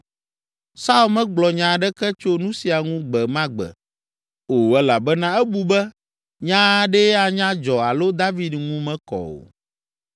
Saul megblɔ nya aɖeke tso nu sia ŋu gbe ma gbe o elabena ebu be nya aɖee anya dzɔ alo David ŋu mekɔ o.